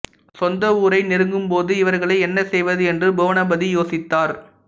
சொந்த ஊரை நெருங்கும்போது இவர்களை என்ன செய்வது என்று புவனபதி யோசித்தார்